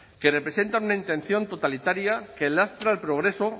que representan una intención totalitaria que lastra el progreso